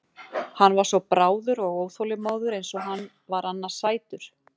Hann var svo bráður og óþolinmóður eins og hann var annars sætur.